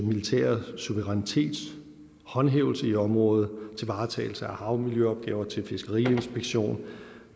militære suverænitet håndhævelse i området til varetagelse af havmiljøopgaver til fiskeriinspektion og